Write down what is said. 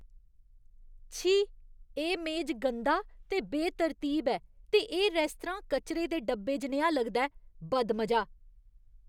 छी! एह् मेज गंदा ते बेतरतीब ऐ ते एह् रेस्तरां कचरे दे डब्बे जनेहा लगदा ऐ, बदमजा! !